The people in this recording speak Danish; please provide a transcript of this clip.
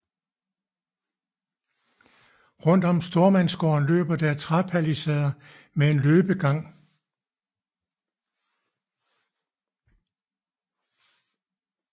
Rundt om stormandsgården løber der træpalisader med en løbegang